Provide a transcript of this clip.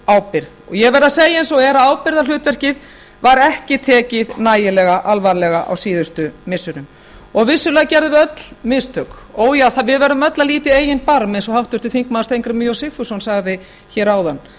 ábyrgð ég verð að segja eins og er að ábyrgðarhlutverkið var ekki tekið nægilega alvarlega á síðustu missirum vissulega gerðum við öll mistök frá við verðum öll að líta í eigin barm eins og háttvirtur þingmaður steingrímur j sigfússon sagði hér áðan